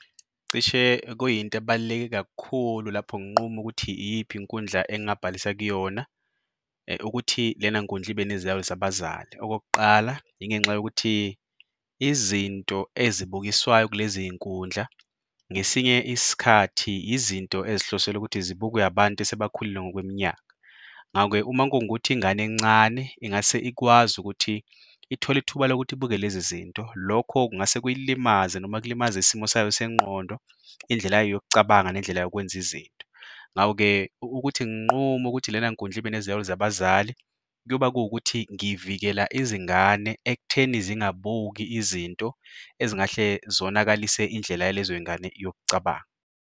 Cishe ekuyinto ebaluleke kakhulu lapho nginqume ukuthi iyiphi inkundla engingabhalisa kuyona ukuthi lena nkundla ibe neziyalo zabazali. Okokuqala, yingenxa yokuthi izinto ezibukiswayo kulezi y'nkundla ngesinye isikhathi izinto ezihlosele ukuthi zibukwe abantu asebakhulile ngokweminyaka. Ngako-ke uma kungukuthi ingane encane ingase ikwazi ukuthi ithole ithuba lokuthi ibuke lezi zinto, lokho kungase kuyilimaze noma kulimaze isimo sayo sengqondo, indlela yayo yokucabanga nendlela yokwenza izinto. Ngako-ke ukuthi nginqume ukuthi lena nkundla ibe neziyalo zabazali kuyoba kuwukuthi ngivikela izingane ekutheni zingabuki izinto ezingahle zonakalise indlela yalezo y'ngane yokucabanga.